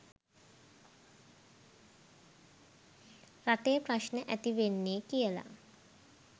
රටේ ප්‍රශ්න ඇතිවෙන්නෙ කියලා.